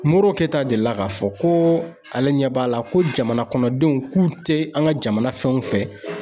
MORO KETA delila k'a fɔ ko ale ɲɛ b'a la ko jamana kɔnɔ denw k'u tɛ an ka jamana fɛnw fɛ.